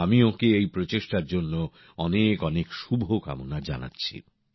আমি ওঁকে এই প্রচেষ্টার জন্য অনেক অনেক শুভকামনা জানাচ্ছি